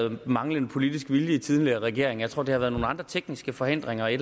om manglende politisk vilje i den tidligere regering jeg tror der er opstået nogle andre tekniske forhindringer i